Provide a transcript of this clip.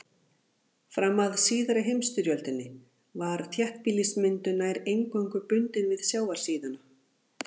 Fram að síðari heimsstyrjöldinni var þéttbýlismyndun nær eingöngu bundin við sjávarsíðuna.